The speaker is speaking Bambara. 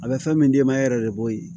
A bɛ fɛn min d'e ma e yɛrɛ de b'o ye